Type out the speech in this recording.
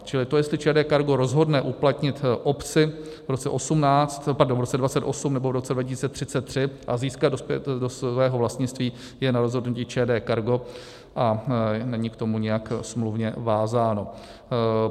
Čili to, jestli ČD Cargo rozhodne uplatnit opci v roce 2028 nebo v roce 2033 a získat do svého vlastnictví, je na rozhodnutí ČD Cargo a není k tomu nijak smluvně vázáno.